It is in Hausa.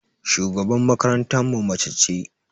Shugaban makarantan mu mace ce.